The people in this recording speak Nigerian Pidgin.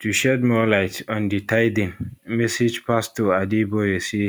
to shed more light on di tithing message pastor adeboye say